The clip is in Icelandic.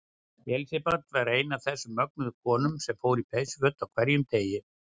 Elsabet var ein af þessum mögnuðu konum sem fór í peysuföt á hverjum degi.